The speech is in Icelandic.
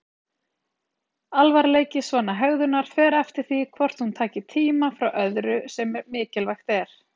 Alvarleiki svona hegðunar fer eftir því hvort hún taki tíma frá öðru sem mikilvægt er.